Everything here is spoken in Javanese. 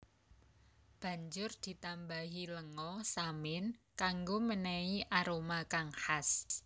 Banjur ditambahi lenga samin kanggo menehi aroma kang khas